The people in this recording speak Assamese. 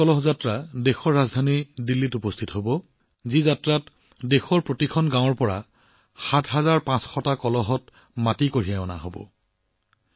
দেশৰ প্ৰতিটো কোণৰ পৰা ৭৫০০ কলহত মাটি কঢ়িয়াই অনা এই অমৃত কলহ যাত্ৰা দেশৰ ৰাজধানী দিল্লীত উপস্থিত হব